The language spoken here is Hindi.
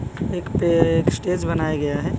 एक पे एक स्टेज बनाया गया है।